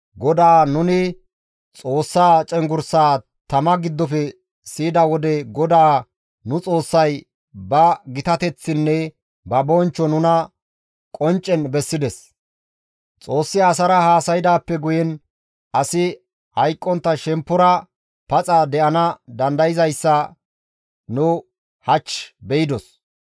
‹GODAA nuni Xoossa cenggurssaa tama giddofe siyida wode GODAA nu Xoossay ba gitateththinne ba bonchcho nuna qonccen bessides; Xoossi asara haasaydaappe guyen asi hayqqontta shemppora paxa de7ana dandayzayssa nu hach beydos.